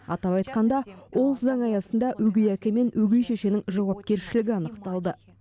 атап айтқанда ол заң аясында өгей әке мен өгей шешенің жауапкершілігі анықталды